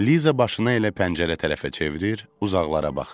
Liza başını elə pəncərə tərəfə çevirir, uzaqlara baxırdı.